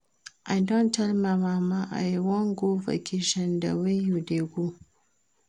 I tell my mama say I wan go vacation the way you dey go